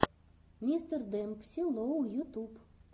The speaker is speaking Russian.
мистер демпси лоу ютуб